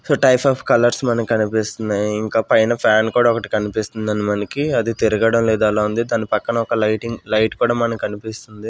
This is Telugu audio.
సో టైప్ ఆఫ్ కలర్స్ మనకి కనిపిస్తున్నాయి. ఇంకా పైన ఫ్యాన్ కూడా ఒకటి కనిపిస్తుందండి. మనకి అది తిరగడం లేదు అలా ఉంది దాని పక్కన ఒక లైటింగ్ లైట్ కూడా మనకి కనిపిస్తుంది.